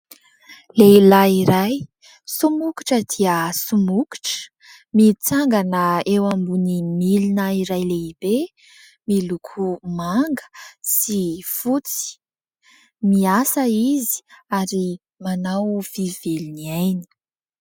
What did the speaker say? Lehilahy somokotra dia somokotra, mitsangana eo amin'ny milina iray lehibe miloko sy fotsy. Miasa izy ary manao vy very ny ainy.